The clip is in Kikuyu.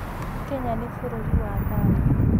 Kenya nĩ bũrũri wa thayũ.